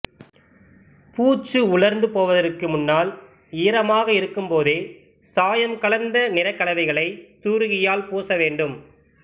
பூச்சு உலர்ந்துபோவதற்கு முன்னால் ஈரமாக இருக்கும்போதே சாயம் கலந்த நிறக்கலவைகளைத் தூரிகையால் பூச வேண்டும்